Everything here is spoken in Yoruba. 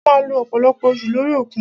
A máà lo ọ̀pọ̀lọpọ̀ oṣù lórí òkun.